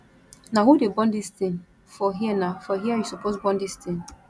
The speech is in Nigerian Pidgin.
na who dey burn dis thing for herena for here you suppose burn dis thing